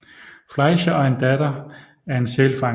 Fleischer og en datter af en sælfanger